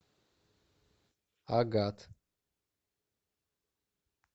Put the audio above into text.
агат